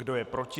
Kdo je proti?